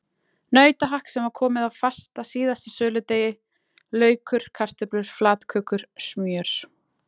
Nautahakk sem var komið fast að síðasta söludegi, laukur, kartöflur, flatkökur, smjör.